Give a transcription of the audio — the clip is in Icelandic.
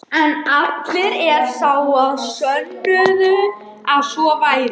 En allir er sá, þá sönnuðu að svo væri.